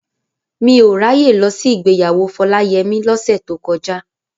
Mi ò ráyè lọ sí ìgbéyàwó Fọláyẹmí lọ́sẹ̀ tó kọjá.